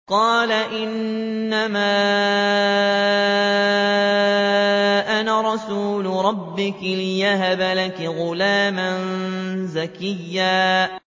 قَالَ إِنَّمَا أَنَا رَسُولُ رَبِّكِ لِأَهَبَ لَكِ غُلَامًا زَكِيًّا